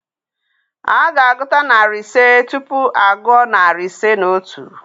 A ga-agụta narị ise tupu a gụọ narị ise na otu.